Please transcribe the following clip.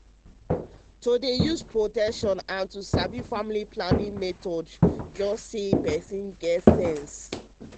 to dey use protection and to sabi family planning method dem na just be say ah person get sense.